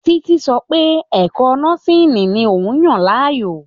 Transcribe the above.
Títí sọ pẹ́ ẹ̀kọ́ nọ́síìnì ni òun yàn láàyò.